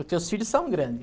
Os teus filhos são grande.